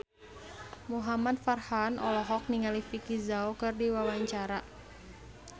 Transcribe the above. Muhamad Farhan olohok ningali Vicki Zao keur diwawancara